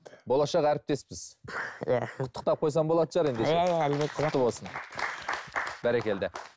болашақ әріптеспіз иә құттықтап қойсам болатын шығар ендеше иә әлбетте құтты болсын бәрекелді